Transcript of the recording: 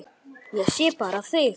Ég sé bara þig!